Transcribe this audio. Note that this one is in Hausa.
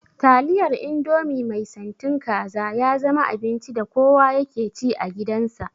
Taliyar indomie mai santin kaza ya zama abinci da kowa yake ci a gidan sa